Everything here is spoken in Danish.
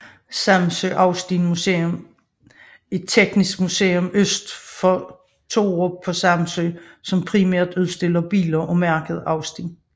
Samsø Austin Museum er teknisk museum øst for Torup på Samsø som primært udstiller biler af mærket Austin